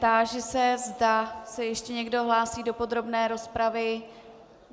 Táži se, zda se ještě někdo hlásí do podrobné rozpravy.